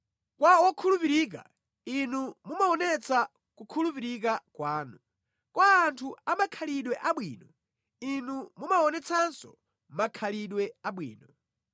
Kwa wokhulupirika, Inu mumaonetsa kukhulupirika kwanu; kwa anthu amakhalidwe abwino, Inu mumaonetsanso makhalidwe abwino,